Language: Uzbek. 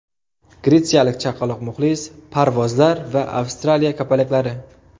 Gretsiyalik chaqaloq muxlis, parvozlar va Avstraliya kapalaklari.